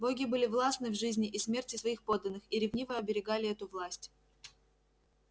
боги были властны в жизни и смерти своих подданных и ревниво оберегали эту власть